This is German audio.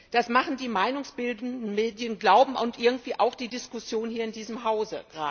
Das machen die meinungsbildenden Medien glauben und irgendwie auch die Diskussion hier gerade in diesem Hause.